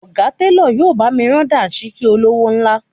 Ọ̀gá télọ̀ yóò bá mi rán Dàńṣíkí olówó ńlá